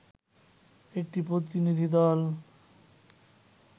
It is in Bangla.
একটি প্রতিনিধিদল